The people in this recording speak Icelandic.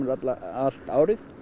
allt árið